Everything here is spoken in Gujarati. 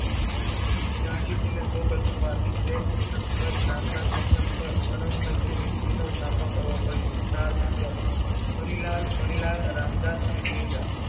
ગાંધીજીને સૌપ્રથમ વાર સવેત ચિકનબર્ગ નામના સ્ટેસનપર ઓરંગ ઝેબની નીતિનો સામનો કરવો પડ્યો ચાર પુત્ર હરિલાલ, મણિલાલ, રામદાસ અને દેવદાસ